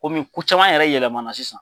ko caman yɛrɛ yɛlɛmana sisan.